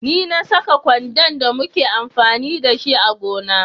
Ne na Saka kwando da muke amfani da shi a gona.